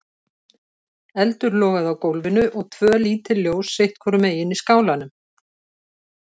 Eldur logaði á gólfinu og tvö lítil ljós sitt hvorum megin í skálanum.